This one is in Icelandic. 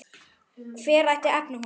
Hver ætti efni á honum?